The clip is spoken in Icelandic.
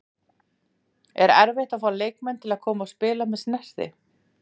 Er erfitt að fá leikmenn til að koma og spila með Snerti?